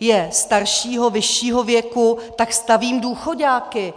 je staršího, vyššího věku, tak stavím důchoďáky.